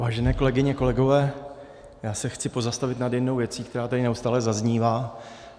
Vážené kolegyně, kolegové, já se chci pozastavit nad jednou věcí, která tady neustále zaznívá.